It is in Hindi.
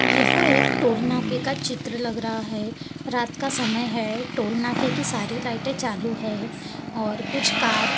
यह एक टोल नाके के का चित्र लग रहा है रात का समय है टोल नाके की सारी लाइटें चालू है और कुछ कार --